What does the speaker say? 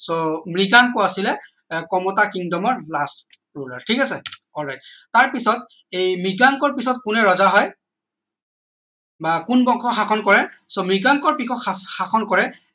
so Mriganka আছিলে আহ কমতা. kingdom ৰ last ঠিক আছে all right তাৰ পিছত এই মৃগাংকৰ পিছত কোনে ৰজা হয় বা কোন বংশ শাসন কৰে so মৃগাংকৰ পিছত শাসন কৰে